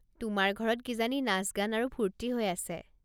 তোমাৰ ঘৰত কিজানি নাচ-গান আৰু ফূৰ্তি হৈ আছে।